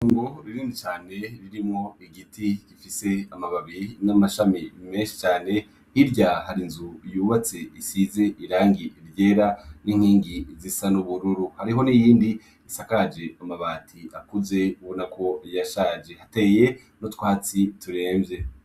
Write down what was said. Itongo rinini cane ririmwo igiti gifise mababi n'amashami menshi cane, hirya har'inzu yubatse y'inkingi zisa n'ubururu, hariho n'iyindi isakaje amabati akuze, ubonako yashaje, hateye n'utwatsi turemvye.